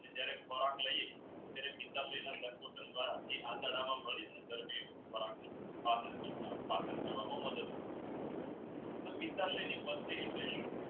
આપણે જ્યરહ ખોરાક લઈએ ત્યરેહ તે આતરડા માં કરવામાં મદદ એટલે શું